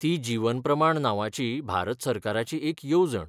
ती जीवन प्रमाण नांवाची भारत सरकाराची एक येवजण.